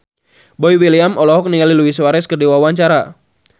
Boy William olohok ningali Luis Suarez keur diwawancara